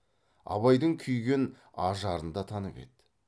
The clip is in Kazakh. абайдың күйген ажарын да танып еді